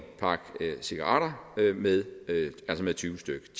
pakke cigaretter med tyve stykke